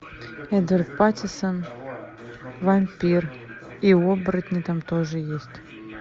эдвард паттинсон вампир и оборотни там тоже есть